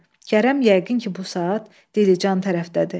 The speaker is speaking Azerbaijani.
Kərəm yəqin ki bu saat Dilican tərəfdədir.